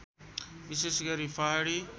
विशेष गरी पहाडी